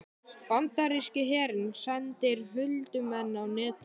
Bandaríski herinn sendir huldumenn á Netið